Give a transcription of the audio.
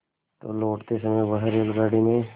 तो लौटते समय वह रेलगाडी में